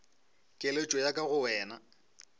keletšo ya ka go wena